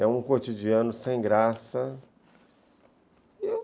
É um cotidiano sem graça.